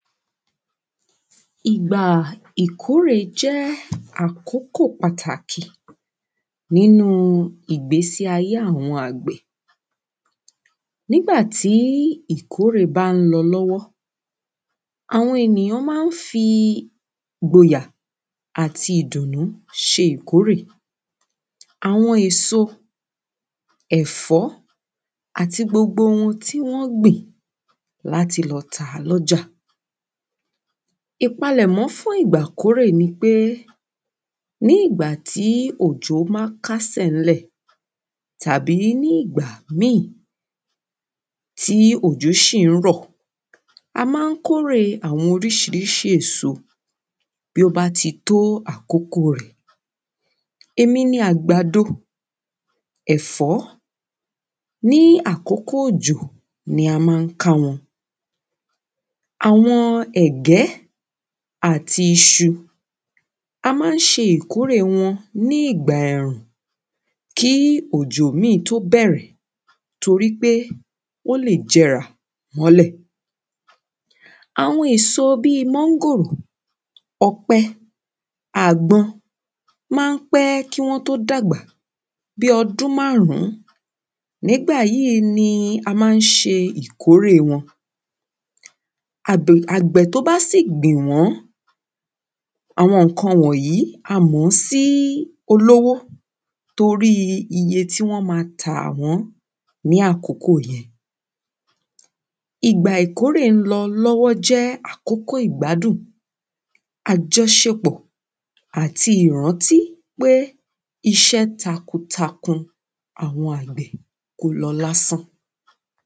Ìgbà ìkórè jẹ́ àkókò pàtàkì nínu ìgbésíayé àwọn àgbẹ̀, nígbàtí ìkórè bá ń lọ l’ọ́wọ́, àwọn ènìyàn ma ń fi ìgboyà, àti ìdùnnú ṣe ìkórè, àwọn èso, ẹ̀fọ́ àti gbogbo ohun tí wọ́n gbìn, láti lọ tàá lọ́jà. Ìpalẹ̀mọ́ fún ìgbà ìkórè ni pé, nígbàtí òjò bá kásẹ̀ ní lẹ̀, tàbí nígbà mí, tí òjò sì ń rọ̀, a ma ń kórè àwọn orísirísi èso tó bá ti tó àkókò rẹ̀, èmi ni àgbàdo, ẹfọ, ní àkókò òjò ni a ma ń ká wọn, àwọn ẹ̀gẹ́ àti isu, a ma ń ṣe ìkórè wọn ní ìgbà ẹ̀rùn kí òjò mí tó bẹ̀rẹ̀ torí pé ó lè jẹrà mọ́lẹ̀, àwọn èso bí, mángòrò, ọ̀pẹ, àgbọn, ma ń pẹ́ kí wọ́n tó dàgbà, bí ọdún márún, ní ìgbà yí ni a ma ń ṣe ìkórè wọn, àgbẹ̀ tó bá sì gbìn wọn, àwọn ǹkan wọ̀nyí a mọ̀ sí olówó torí iye tí wọ́n ma tà wọ́n ní àkókò yẹn, ìgbà ìkórè lọ l’ọ́wọ́ jẹ́ àkókò ìgbádùn, àjọṣepọ̀ àti ìrántí pé iṣẹ́ takun takun, àwọn àgbè kò lọ lásán.